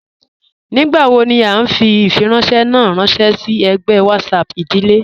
Nígbàwò ní à nfì ifìrànṣẹ̀ ná rànṣẹ sí ègbẹ̀ WhatsApp ìdílé